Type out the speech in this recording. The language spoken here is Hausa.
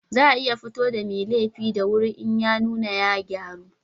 Za a iya fito da mai laifi da wuri in ya nuna ya gyaru